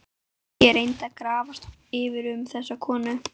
Ég reyndi að grafast fyrir um þessa konu.